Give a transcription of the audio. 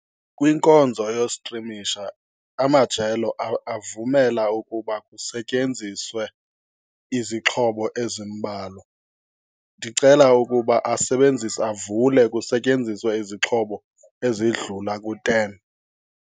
Kwinkonzo yostrimisha amajelo avumela ukuba kusetyenziswe izixhobo ezimbalwa. Ndicela ukuba asebenzise, avule kusetyenziswe izixhobo ezidlula ku-ten.